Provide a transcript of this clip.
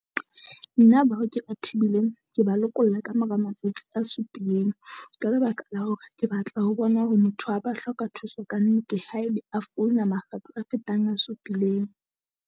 Na bao ke ba thibileng ke ba lokolla kamora matsatsi a supileng, ka lebaka la hore ke batla ho bona hore motho ha ba hloka thuso kannete. Haebe a founa makgetlo a fetang a supileng.